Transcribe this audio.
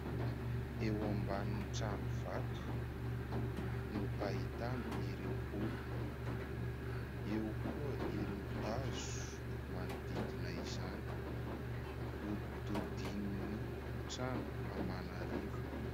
Eo ambanin'ny trano vato no ahitana ireo olona. Eo koa ireo hazo manodidina izany, hodidinin' ny trano aman' arivony.